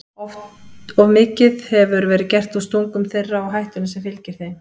Of mikið hefur verið gert úr stungum þeirra og hættunni sem fylgir þeim.